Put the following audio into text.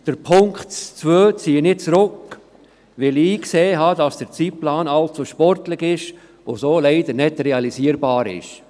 Den Punkt 2 ziehe ich zurück, weil ich eingesehen habe, dass der Zeitplan allzu sportlich und so leider nicht realisierbar ist.